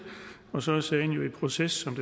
og så er sagen jo i proces